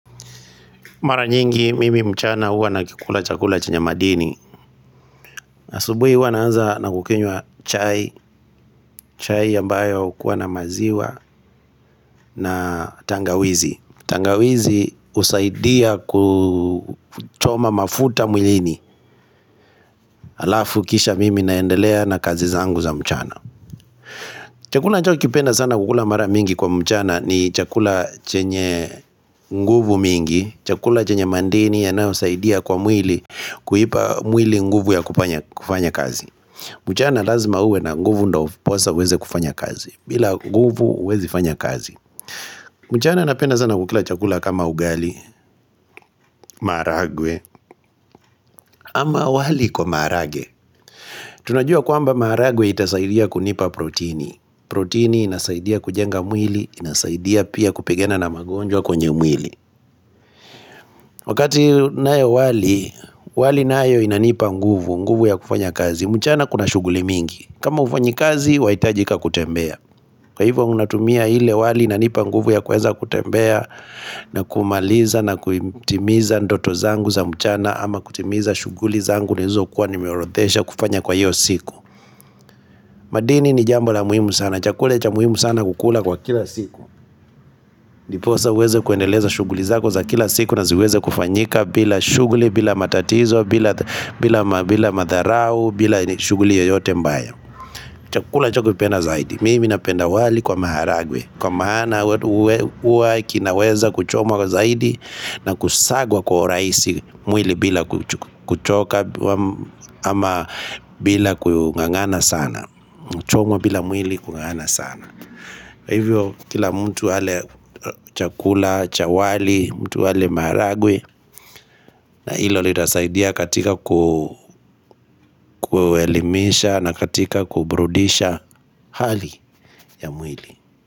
Mara nyingi mimi mchana huwa nakula chakula chenye madini asubuhi huwa naanza na kukunywa chai, chai ambayo hukua na maziwa na tangawizi, tangawizi husaidia kuchoma mafuta mwilini Alafu kisha mimi naendelea na kazi zangu za mchana chakula nachokipenda sana kukula mara mingi kwa mchana ni chakula chenye nguvu mingi chakula chenye madini yanayosaidia kwa mwili Kuipa mwili nguvu ya kufanya kazi mchana lazima uwe na nguvu ndio ndiposa uweze kufanya kazi bila nguvu huwezi fanya kazi mchana napenda sana kukula chakula kama ugali, maharagwe ama wali kwa maharagwe, Tunajua kwamba maharagwe itasaidia kunipa protini, protini inasaidia kujenga mwili, inasaidia pia kupigana na magonjwa kwenye mwili Wakati nayo wali, wali nayo inanipa nguvu, nguvu ya kufanya kazi mchana kuna shughuli mingi kama hufanyi kazi, wahitajika kutembea. Kwa hivyo unatumia ile wali inanipa nguvu ya kuweza kutembea na kumaliza na kutimiza ndoto zangu za mchana ama kutimiza shughuli zangu nilizokua nimeorodhesha kufanya kwa hiyo siku. Madini ni jambo la muhimu sana. Chakula cha muhimu sana kukula kwa kila siku. Ndiposa uweze kuendeleza shughuli zako za kila siku na ziweze kufanyika bila shughuli, bila matatizo, bila madharau, bila shughuli yoyote mbaya. Chakula cha kupenda zaidi. Mimi napenda wali kwa maharagwe Kwa maana huwa kinaweza kuchomwa kwa zaidi na kusagwa kwa urahisi mwili bila kuchoka ama bila kungangana sana kuchomwa bila mwili kungangana sana Hivyo kila mtu ale chakula cha wali, mtu ale maharagwe na hilo litasaidia katika kuelimisha na katika kuburudisha hali ya mwili.